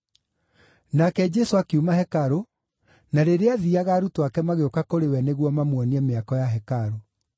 Nake Jesũ akiuma hekarũ, na rĩrĩa aathiiaga arutwo ake magĩũka kũrĩ we nĩguo mamuonie mĩako ya hekarũ.